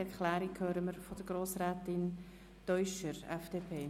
Die Erklärung hören wir von Grossrätin Teuscher, FDP.